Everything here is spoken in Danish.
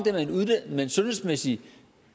med en sundhedsmæssig